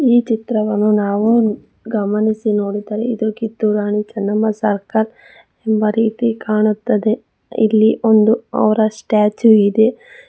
ಈ ಚಿತ್ರವನ್ನು ನಾವು ಗಮನಿಸಿ ನೋಡಿದರೆ ಇದು ಕಿತ್ತೂರು ರಾಣಿ ಚೆನ್ನಮ್ಮ ಸರ್ಕಲ್ ಇರುವ ರೀತಿ ಕಾಣುತ್ತದೆ ಇಲ್ಲಿ ಒಂದು ಅವರ ಸ್ಟಾಚ್ಯೂ ಇದೆ.